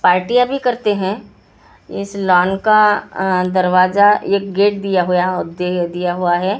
पार्टिया भी करते हैं इस लॉन का दर्वाजा एक गेट दिया हुआ है अ--